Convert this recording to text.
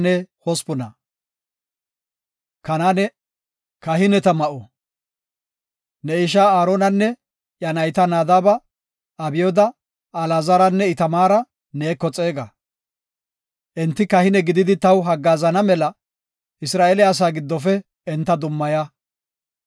“Ne ishaa Aaronanne iya nayta Nadaaba, Abyooda, Alaazaranne Itamaara neeko xeega. Enti kahine gididi taw haggaazana mela Isra7eele asaa giddofe enta dummaya.